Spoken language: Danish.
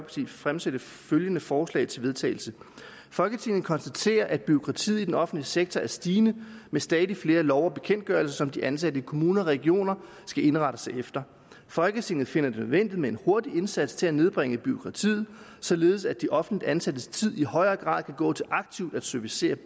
fremsætte følgende forslag til vedtagelse folketinget konstaterer at bureaukratiet i den offentlige sektor er stigende med stadig flere love og bekendtgørelser som de ansatte i kommuner og regioner skal indrette sig efter folketinget finder det nødvendigt med en hurtig indsats til at nedbringe bureaukratiet således at de offentligt ansattes tid i højere grad kan gå til aktivt at servicere